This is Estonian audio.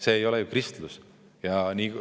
See ei ole ju kristlus!